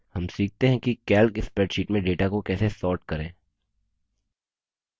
हम सीखते हैं कि calc spreadsheet में data को कैसे sort करें